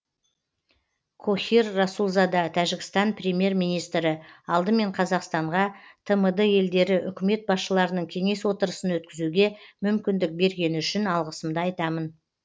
кохир расулзада тәжікстан премьер министрі алдымен қазақстанға тмд елдері үкімет басшыларының кеңес отырысын өткізуге мүмкіндік бергені үшін алғысымды айтамын